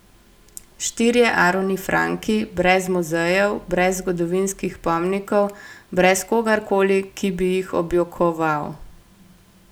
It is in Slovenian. Štirje Aroni Franki brez muzejev, brez zgodovinskih pomnikov, brez kogarkoli, ki bi jih objokoval.